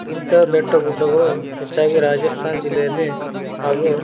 ಇಂತಹ ಬೆಟ್ಟ ಗುಡ್ಡಗಳು ಹೆಚ್ಚಾಗಿ ರಾಜಸ್ತಾನ್ ಜಿಲ್ಲೆಯಲ್ಲಿ ಹಾಗು --